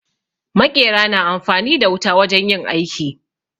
Maƙera na amfani da wuta wajen yin aiki.